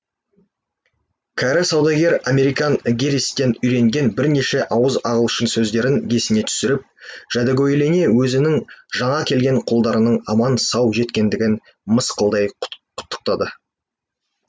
кәрі саудагер американ гэрристен үйренген бірнеше ауыз ағылшын сөздерін есіне түсіріп жәдігөйлене өзінің жаңа келген құлдарының аман сау жеткендігін мысқылдай құттықтады